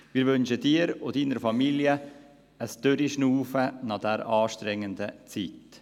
Wir wünschen Ihnen und Ihrer Familie ein Durchatmen nach dieser anstrengenden Zeit.